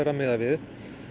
að miða við